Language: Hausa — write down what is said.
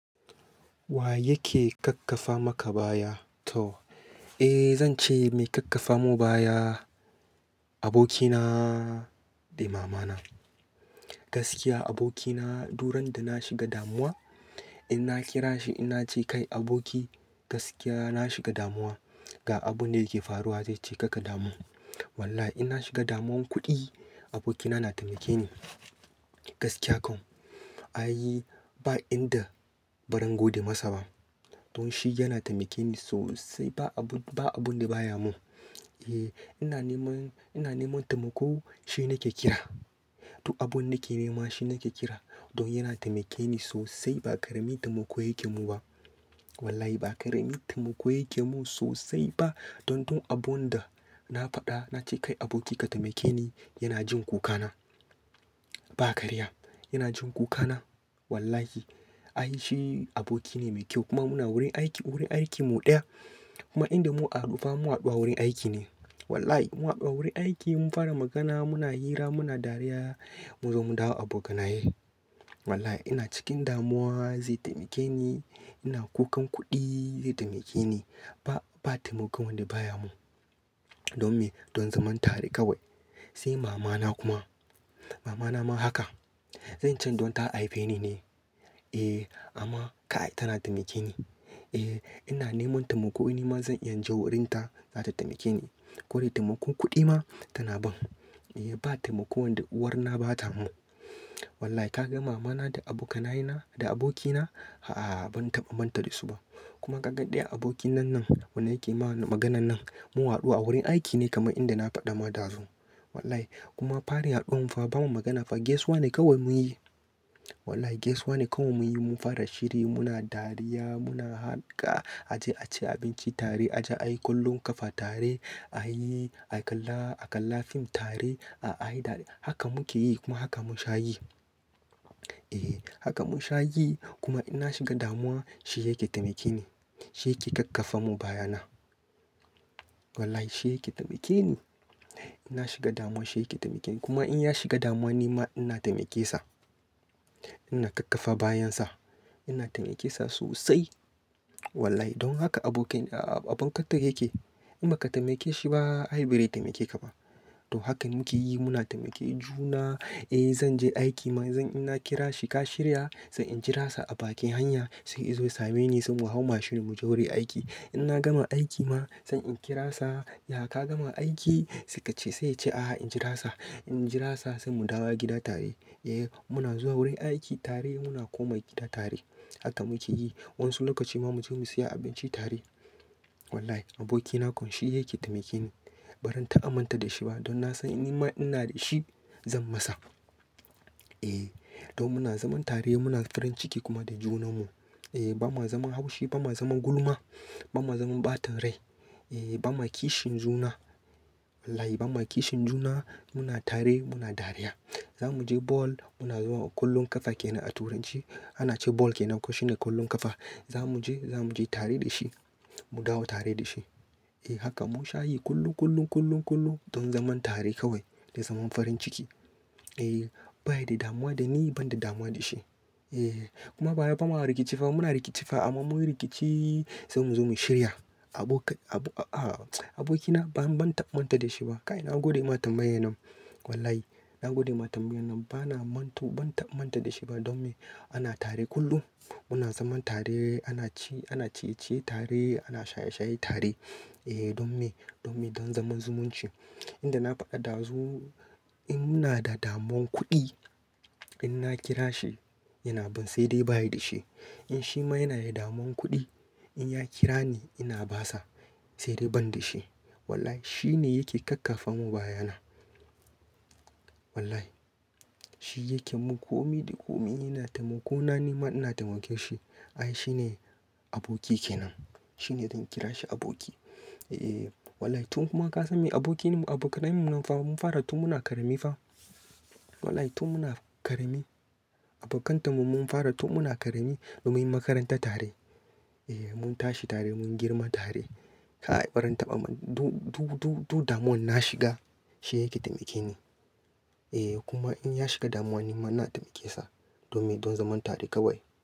Wa yake kakkafa maka baya? To, eh zan ce mai kakkafa mun baya abokina da mamana. Gaskiya abokina duran da na shiga damuwa, in na kira shi ina ce kai aboki gaskiya na shiga damuwa ga abun da yake faruwa, zai ce kaka damu. Wallahi in na shiga damuwan kuɗi abokina na taimake ni. Wallahi in na shiga damuwan kuɗi abokina na taimake ni. Don shi yana taimake ni sosai ba abun, ba abun da baya mun. Eh ina neman, ina neman taimako shi nake kira. Duk abun nake nema shi nake kira. Don yana taimake ni sosai ba karamin taimako yake mun ba. Wallahi ba ƙaramin taimako yake mun sosai ba. Don dun abun da na faɗa na ce kai aboki ka taimake ni, yana jin kuka na. Ba karya, yana jin kuka na. Wallahi ai shi aboki ne mai kyau kuma muna wurin aiki, wurin aiki mu ɗaya. Kuma inda mun haɗu fa mun haɗu a wurin aiki ne. Wallahi mun haɗu a wurin aiki mun fara magana muna hira muna dariya mun zo mu dawo abokanaye. Wallahi ina cikin damuwa zai taimake ni, ina kukan kuɗi zai taimake ni. Ba, ba taimakon wanda baya mun. Don me, don zaman tare kawai. Sai mama na kuma, mama na ma haka. Zan ce don ta haife ni ne. Eh amma kai tana taimake ni. Eh ina neman taimako nima zan iya in je wurin ta za ta taimake ni. Ko dai taimakon kuɗi ma tana ban. Eh ba taimakon da uwar na ba ta mun. Wallahi ka ga mama na da abokanaye na, da aboki na a'a ban tabamanta da su ba. Kuma ka ga ɗaya abokin nan, nan wanda yake ma maganan nan mun haɗu a wurin aiki ne kamar inda na faɗa ma dazu. Wallahi kuma farin haɗuwan mu fa ba mu magana fa gesuwa ne kawai mun yi. Wallahi gesuwa ne kawai mun yi mun fara shiri muna dariya muna harka a je a ci abinci tare a je a yi kollon kafa tare a yi, a kalla, a kalla fim tare a yi dariya. Haka muke yi kuma haka mun sha yi. Eh haka mun sha yi kuma inna shiga damuwa shi yake taimake ni. Shi yake kakkafa mun baya na. Wallahi shi yake taimake ni. Ina shiga damuwa shi yake taimake ni kuma in ya shiga damuwa nima ina taimake sa. Ina kakkafa bayan sa. Ina taimake sa sosai. Wallahi don haka abokin, abokanta yake. In ba ka taimake shi ba, ai bare taimake ka ba. To hakan muke yi muna taimake juna. Eh zan je aiki ma zan, inna kira shi ka shirya? Sai in jira sa a bakin hanya sai izo ya same ni sai mu hau mashin mu je wurin aiki. In na gama aiki ma sai in kira sa, ya ka gama aiki? Sai ka ce sai ya ce a'a in jira sa. In jira sa sai mu dawo gida tare. Eh muna zuwa wurin aiki tare muna komawa gida tare. Haka muke yi. Wan su lokaci ma mu je mu siya abinci tare. Wallahi aboki na kon shi yake taimake ni. Baran taba manta da shi ba don na san in nima ina da shi zan masa. Eh to muna zaman tare muna farin ciki kuma da junan mu. Eh ba ma zaman haushi ba ma zaman gulma, ba ma zaman ɓatan rai. Eh ba ma kishin juna. Wallahi ba ma kishin juna muna tare muna dariya. Za mu je ball muna zuwa kollon kafa kenan a turanci ana ce ball kenan, shi ne kollon kafa. Za mu je, za mu je tare da shi. Mu dawo tare da shi. Eh haka mun sha yi kullum, kullum, kullum, kullum don zaman tare kawai da zaman farin ciki. Eh baya da damuwa da ni ban da damuwa da shi. Eh kuma ba wai bama rikici fa muna rikici fa amma mun rikici sai mu zo mu shirya. Abokai, abu, a aboki na ban, ban taba manta da shi ba. Kai na gode ma tambayar nan. Wallahi na gode ma tambaya nan bana mantu ban taba manta da shi ba don me ana tare kullum. Muna zaman tare ana ci, ana ciye-ciye tare ana shaye-shaye tare. Eh don me, don me don zaman zumunci. Abinda na faɗa ɗazu in muna da damuwan kuɗi, in na kira shi yana ban sai dai ba ya da shi. In shi ma yana da damuwan kuɗi in ya kira ni ina ba sa sai dai ban da shi. Wallahi shi ne yake kakkafa mun baya na. Wallahi shi yake mun komi da komi ina taimako na nima ina taimake shi. Ai shi ne aboki kenan. Shi ne zan kira shi aboki. Eeh wallahi tun kuma ka san me aboki ne mu abokanai mun nan fa mun fara tun muna ƙarami fa. Wallahi tun muna karami abokanta mun mun fara tun muna karami don munyi makaranta tare. Eeh mun tashi tare mun girma tare. Kai bari na tabamma, dun, dun, dun damuwan na shiga shi yake taimake ni. Eeh kuma in ya shiga damuwa nima ina taimake sa don me don zaman tare kawai.